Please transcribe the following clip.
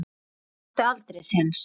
Hann átti aldrei séns.